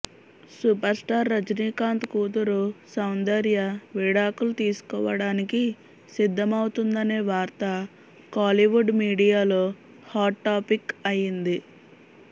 super star Rajinikanth కూతురు సౌందర్య విడాకులు తీసుకోవడానికి సిద్దమౌతుందనే వార్త కోలీవుడ్ మీడియాలో హాట్ టాపిక్ అయ్యింది